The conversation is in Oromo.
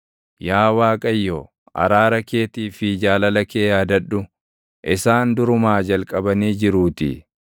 Yaa Waaqayyo, araara keetii fi jaalala kee yaadadhu; isaan durumaa jalqabanii jiruutii.